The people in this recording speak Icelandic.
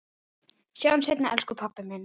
Sjáumst seinna elsku pabbi minn.